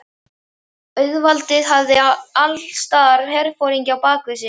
Auðvaldið hafði allsstaðar herforingja á bak við sig.